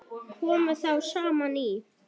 Komu þá saman í